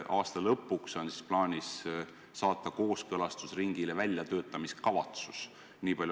Aasta lõpuks on plaanis saata kooskõlastusringile väljatöötamiskavatsus.